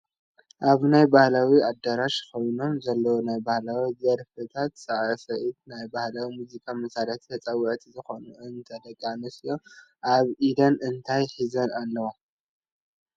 ኣብ ናይ ባህላዊ ኣደራሽ ኮይኖም ዘለው ናይ ባህላዊ ድርፍታት ሳዕሳዒቲ ናይ ባህላዊ ሙዚቃ ማሳርሒ ተፀወቲ ዝኮኑ እተን ደቂ ኣንስትዮ ኣብ ኢደን እንታይ ሒዘን ኣለዋ?